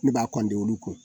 Ne b'a olu kun